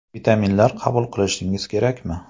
Vitaminlar qabul qilishingiz kerakmi?.